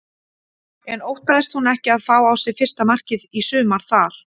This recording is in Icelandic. En óttaðist hún ekki að fá á sig fyrsta markið í sumar þar?